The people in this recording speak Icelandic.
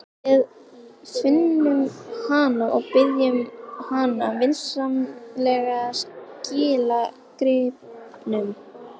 Við finnum hana og biðjum hana vinsamlega að skila gripnum.